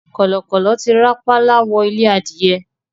Kọ̀lọ̀kọ̀lọ̀ ti rápálá wọ ilé adìyẹ